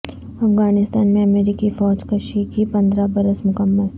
افغانستان میں امریکی فوج کشی کے پندرہ برس مکمل